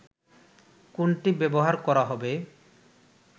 কোনটি ব্যবহার করা হবে